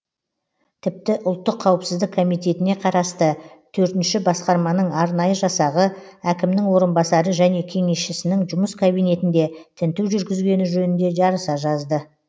тіпті ұлттық қауіпсіздік комитетіне қарасты төртінші басқарманың арнайы жасағы әкімнің орынбасары және кеңесшісінің жұмыс кабинетінде тінту жүргізгені жөнінде жарыса жазды